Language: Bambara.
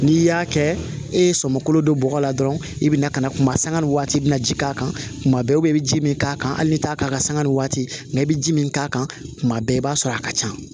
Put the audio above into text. N'i y'a kɛ e ye sɔmi kolo don bɔgɔ la dɔrɔn i bɛna ka na kuma sanga ni waati i bɛna ji k'a kan kuma bɛɛ i bɛ ji min k'a kan hali ni t'a k'a kan sanga ni waati nka i bɛ ji min k'a kan kuma bɛɛ i b'a sɔrɔ a ka ca